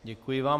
Děkuji vám.